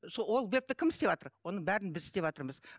сол ол вебті кім істеватыр оның бәрін біз істеватырмыз